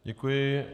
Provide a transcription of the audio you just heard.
Děkuji.